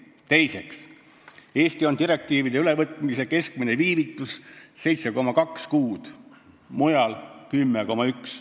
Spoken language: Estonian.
Teiseks, Eestis on direktiivide ülevõtmise keskmine viivitus 7,2 kuud, mujal 10,1.